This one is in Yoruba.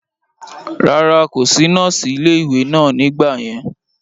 rárá, kò sí nọ́ọ̀sì ilé ìwé náà nígbà yẹn